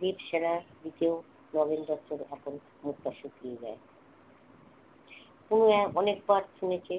দেবসেনার দিকেও নগেন দত্তের এখন মুখটা শুকিয়ে যায় উনি অনেকবার শুনেছে